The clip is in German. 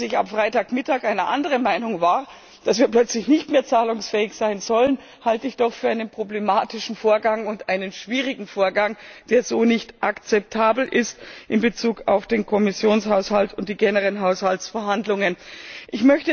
Dass ich am Freitagmittag einer anderen Meinung war, dass wir plötzlich nicht mehr zahlungsfähig sein sollen, halte ich doch für einen problematischen und einen schwierigen Vorgang, der so in Bezug auf den Kommissionshaushalt und die generellen Haushaltsverhandlungen nicht akzeptabel ist.